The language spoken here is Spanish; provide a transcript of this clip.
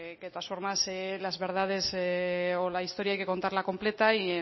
que todas formas las verdades o la historia hay que contarla completa y